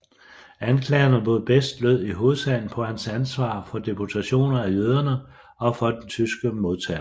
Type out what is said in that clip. Anklagerne mod Best lød i hovedsagen på hans ansvar for deportationen af jøderne og for den tyske modterror